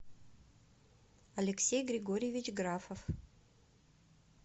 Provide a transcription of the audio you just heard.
алексей григорьевич графов